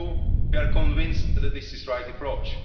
Like you, we are convinced that this is the right approach.